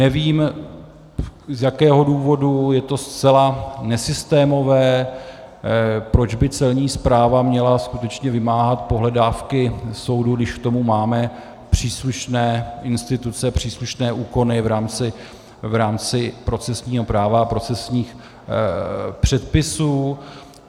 Nevím, z jakého důvodu, je to zcela nesystémové, proč by Celní správa měla skutečně vymáhat pohledávky soudů, když k tomu máme příslušné instituce, příslušné úkony v rámci procesního práva a procesních předpisů.